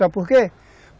Sabe por quê?